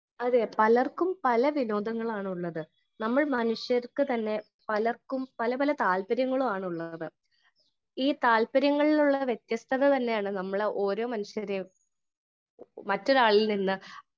Speaker 1 അതേ പലർക്കും പല വിനോദങ്ങളാണ് ഉള്ളത് . നമ്മൾ മനുഷ്യർക്ക് തന്നെ പലർക്കും പല പല താൽപര്യങ്ങളുമാണ് ഉള്ളത് . ഈ താല്പര്യങ്ങളിലുള്ള വ്യത്യസ്തതതന്നെയാണ് നമ്മൾ ഓരോ മനുഷ്യരെയും മറ്റൊരാളിൽ നിന്ന്